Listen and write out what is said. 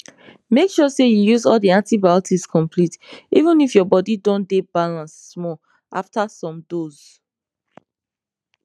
make sure say you use all the antibiotics complete even if your body don dey balance small after some dose